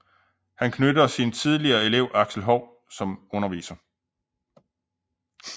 Han knytter sin tidligere elev Axel Hou som underviser